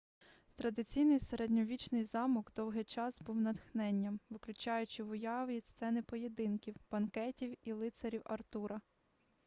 традиційний середньовічний замок довгий час був натхненням викликаючи в уяві сцени поєдинків банкетів і лицарів артура